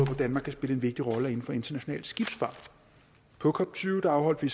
danmark kan spille en vigtig rolle er inden for international skibsfart på cop tyve afholdt vi